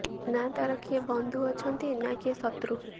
ନା ତାର କିଏ ବନ୍ଧୁ ଅଛନ୍ତି ନା କିଏ ଶତ୍ରୁ